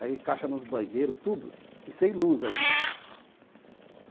Aí, caixa nos banheiros, tudo, e sem luz ainda.